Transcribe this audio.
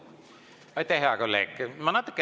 Aitäh, hea kolleeg!